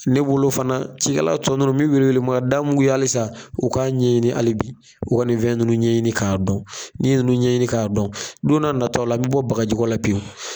Ne bolo fana cikɛlatɔ ninnu min wele wele ma da mun kun ye hali sa, u k'a ɲɛɲini hali bi, u ka nin fɛn ninnu ɲɛɲini k'a dɔn, n'i ye nunnu ɲɛɲini k'a dɔn, don n'a nataw la, an mi bɔ bagajiko la pewu.